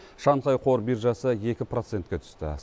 шанхай қор биржасы екі процентке түсті